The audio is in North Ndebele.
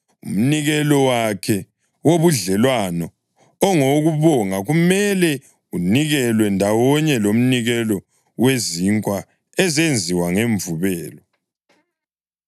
Umnikelo wakhe wobudlelwano ongowokubonga kumele unikelwe ndawonye lomnikelo wezinkwa ezenziwe ngemvubelo.